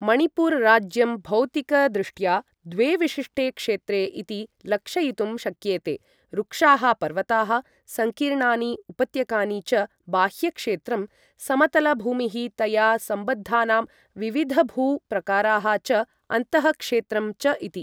मणिपुर राज्यं भौतिक दृष्ट्या द्वे विशिष्टे क्षेत्रे इति लक्षयितुं शक्येते, रुक्षाः पर्वताः सङ्कीर्णानि उपत्यकानि च बाह्य क्षेत्रं, समतल भूमिः तया सम्बद्धानां विविधभू प्रकाराः च अन्तः क्षेत्रं च इति।